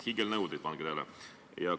Hiigelnõudeid, pange tähele!